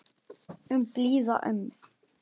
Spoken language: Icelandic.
Um blíða ömmu.